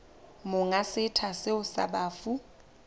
monga setsha seo sa bafu